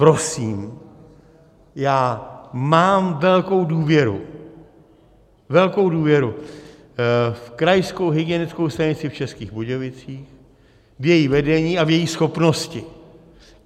Prosím, já mám velkou důvěru, velkou důvěru v Krajskou hygienickou stanici v Českých Budějovicích, v její vedení a v její schopnosti.